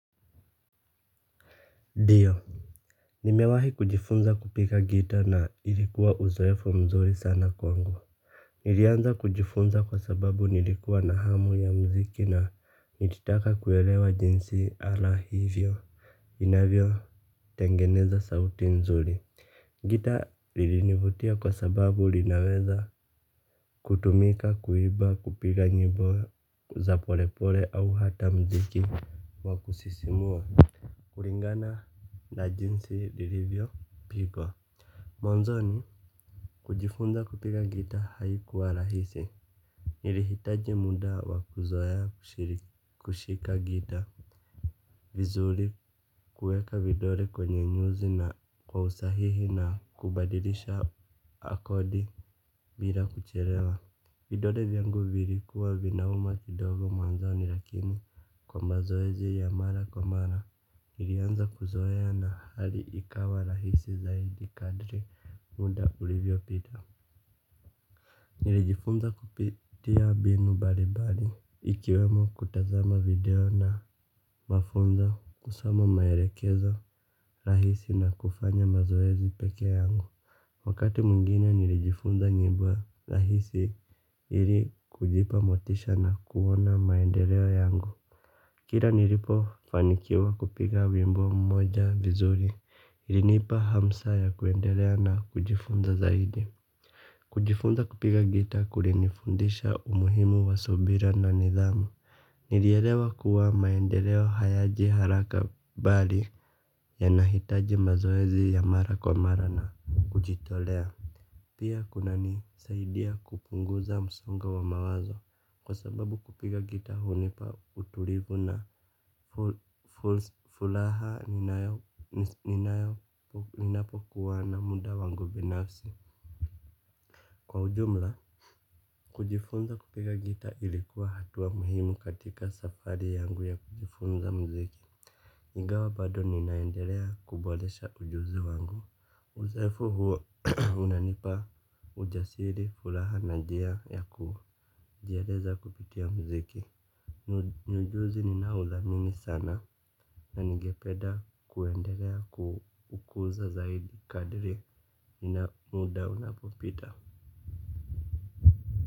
Ndiyo. Nimewahi kujifunza kupiga gitaa na ilikuwa uzoefu mzuri sana kwangu. Nilianza kujifunza kwa sababu nilikuwa na hamu ya muziki na nilitaka kuelewa jinsi ala hiyo inavyotengeneza sauti nzuri. Gitaa lilinivutia kwa sababu linaweza kutumika kuimba kupiga nyimbo za polepole au hata muziki wa kusisimua. Kulingana na jinsi lilivyopigwa mwanzoni kujifunza kupika gitaa haikuwa rahisi. Nilihitaji muda wa kuzoea kushika gitaa. Vizuri kuweka vidole kwenye nyuzi na kwa usahihi na kubadilisha akodi bila kuchelewa. Vidole vyangu vilikuwa vinauma lidogo mwanzoni lakini kwa mazoezi ya mara kwa mara nilianza kuzoea na hali ikawa rahisi zaidi kadri muda ulivyopita. Nilijifunza kupitia mbinu mbalimbali. Ikiwemo kutazama video na mafunzo kusoma maelekezo rahisi na kufanya mazoezi pekee yangu. Wakati mwingine nilijifunza nyimbo rahisi ili kujipa motisha na kuona maendeleo yangu. Kila nilipofanikiwa kupiga wimbo mmoja vizuri. Ilinipa hamasa ya kuendelea na kujifunza zaidi. Kujifunza kupiga gitaa kulinifundisha umuhimu wa subira na nidhamu. Nilielewa kuwa maendeleo hayaji haraka bali yanahitaji mazoezi ya mara kwa mara na kujitolea. Pia kuna nisaidia kupunguza msongo wa mawazo kwa sababu kupiga gitaa hunipa utulivu na furaha ninapo kuwana muda wangu binafsi. Kwa ujumla, kujifunza kupiga gitaa ilikuwa hatua muhimu katika safari yangu ya kujifunza muziki. Ingawa bado ninaendelea kuboresha ujuzi wangu, uzoefu huo unanipa ujasiri furaha na njia ya kujieleza kupitia muziki. Ni ujuzi ninaouthamini sana na ningepeda kuendelea kuukuza zaidi kadri na muda unapopita.